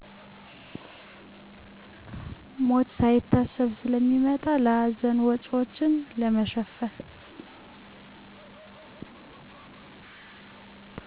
ሞት ሳይታሰብ ስለሚመጣ ለሀዘን ወጭዎችን ለመሸፈን።